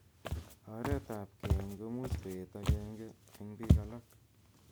Roreetet ap keeny' komuuch koet agenge eng biik alaak.